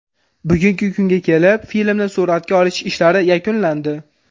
Bugungi kunga kelib filmni suratga olish ishlari yakunlandi.